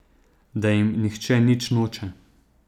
Da jim nihče nič noče.